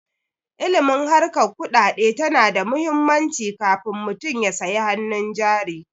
Ilimin harkar kuɗaɗe tana da muhimmanci kafun mutum ya sayi hanun jari